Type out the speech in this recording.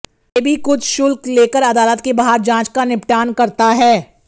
सेबी कुछ शुल्क लेकर अदालत के बाहर जांच का निपटान करता है